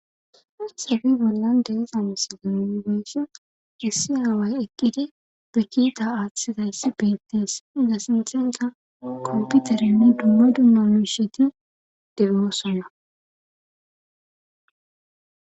asebi bollan deezam si dinongesse gissi haaway eqqidi ge kiita aaththidayssi beettees iza sinxenta komputerinne dumma dumma muisheti demimosonna